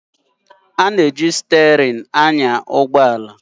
A na-eji steering achịkwa mmegharị nke ụgbọ ala